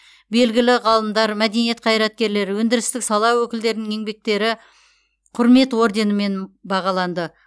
белгілі ғалымдар мәдениет қайраткерлері өндірістік сала өкілдерінің еңбектері құрмет орденімен бағаланды